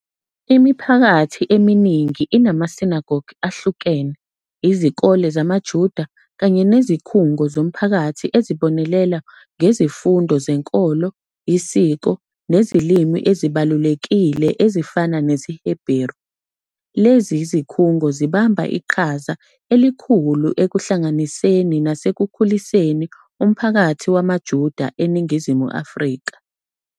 Imiphakathi eminingi inama-synagogue ahlukene, izikole zamaJuda, kanye nezikhungo zomphakathi ezibonelela ngezifundo zenkolo, isiko, nezilimi ezibalulekile ezifana nesiHebheru. Lezi zikhungo zibamba iqhaza elikhulu ekuhlanganiseni nasekukhuliseni umphakathi wamaJuda eNingizimu Afrika.